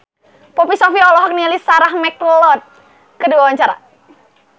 Poppy Sovia olohok ningali Sarah McLeod keur diwawancara